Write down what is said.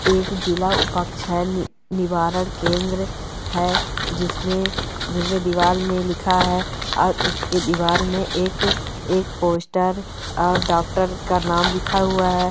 एक जिलाह उपाक्षण निवारण केंद्र है जिसमे जिसमे दिवार में लिखा है और उसके दिवार में एक एक पोस्टर और डॉक्टर का नाम लिखा हुआ है।